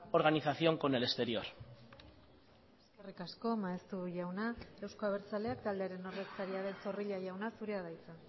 organización con el exterior eskerrik asko maeztu jauna euzko abertzaleak taldearen ordezkaria den zorrilla jauna zurea da hitza